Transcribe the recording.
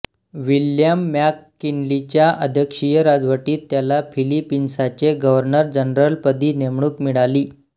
William मॅककिन्लीच्या अध्यक्षीय राजवटीत त्याला फिलिपिन्साचे गव्हर्नर जनरलपदी नेमणूक मिळाली